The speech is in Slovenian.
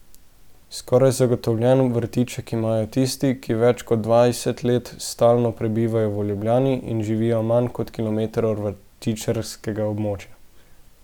Skoraj zagotovljen vrtiček imajo tisti, ki več kot dvajset let stalno prebivajo v Ljubljani in živijo manj kot kilometer od vrtičkarskega območja.